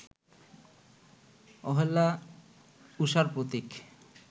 অহল্যা উষার প্রতীক